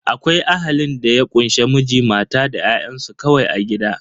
Akwai Ahalin da ya kunshe Miji, mata da ƴa'ƴansu kawai a gida.